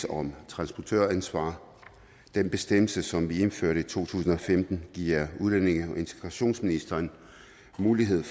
om transportøransvar den bestemmelse som vi indførte i to tusind og femten giver udlændinge og integrationsministeren mulighed